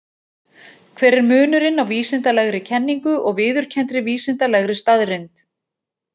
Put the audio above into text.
Hver er munurinn á vísindalegri kenningu og viðurkenndri vísindalegri staðreynd?